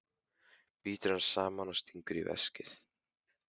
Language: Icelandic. Brýtur hann saman og stingur í veskið.